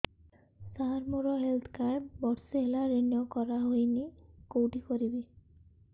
ସାର ମୋର health card ବର୍ଷେ ହେଲା ରିନିଓ କରା ହଉନି କଉଠି କରିବି